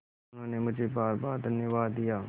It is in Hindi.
उन्होंने मुझे बारबार धन्यवाद दिया